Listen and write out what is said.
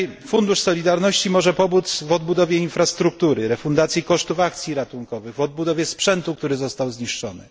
Fundusz Solidarności może pomóc w odbudowie infrastruktury, refundacji kosztów akcji ratunkowych, w odbudowie sprzętu, który został zniszczony.